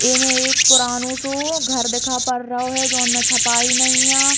इ में एक पुरानो सो घर दिखा पड़ रहो है जोन में छपाई नई आं ।